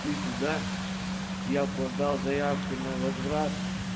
шли туда я подал заявку на возврат